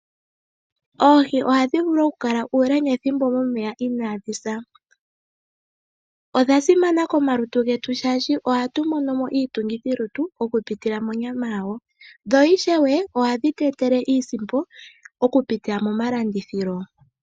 Oohiohadhi vulu oku kala uule nethimbo momeya inadhi sa. Odha simana komalutu getu oshoka ohadhi tu etele iitungithilutu kupitila monyama yadho. Dho ishewe ohadhi tu etele iisimpo okupitila momalanditho.